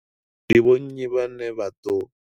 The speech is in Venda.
Ndi vho nnyi vhane vha ḓo.